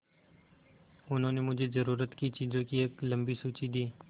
उन्होंने मुझे ज़रूरत की चीज़ों की एक लम्बी सूची दी